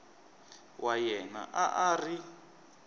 wa yena a a ri